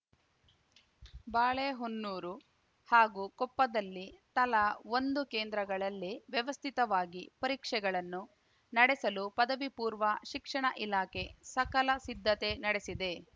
ಬಾಳೆಹೊನ್ನೂರು ಹಾಗೂ ಕೊಪ್ಪದಲ್ಲಿ ತಲಾ ಒಂದು ಕೇಂದ್ರಗಳಲ್ಲಿ ವ್ಯವಸ್ಥಿತವಾಗಿ ಪರೀಕ್ಷೆಗಳನ್ನು ನಡೆಸಲು ಪದವಿಪೂರ್ವ ಶಿಕ್ಷಣ ಇಲಾಖೆ ಸಕಲ ಸಿದ್ಧತೆ ನಡೆಸಿದೆ